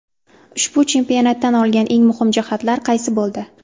Ushbu chempionatdan olgan eng muhim jihatlar qaysi bo‘ldi?